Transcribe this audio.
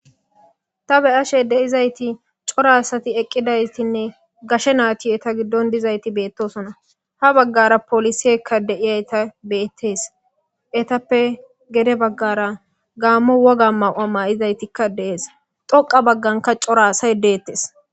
Ta be ashe de7izayti corasati eqqidaystinne gashe naatiyeta giddon dizayti beettosona ha baggara polisiekka deiyayta beettees etappe gede baggara gaammo woga maw7a ma7izaytikka dees xoqa bagganka coraasay deettes